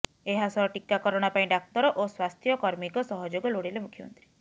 ଏହାସହ ଟିକାକରଣ ପାଇଁ ଡାକ୍ତର ଓ ସ୍ୱାସ୍ଥ୍ୟକର୍ମୀଙ୍କ ସହଯୋଗ ଲୋଡ଼ିଲେ ମୁଖ୍ୟମନ୍ତ୍ରୀ